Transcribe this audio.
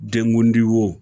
Dengudi wo